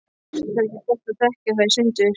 Það er ekki gott að þekkja það í sundur.